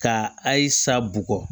Ka ayi sa bu